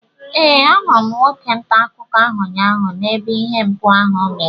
Ee, ahụrụ m nwoke ntaakụkọ ahụ ụnyaahụ n'ebe ihe mpụ ahụ mere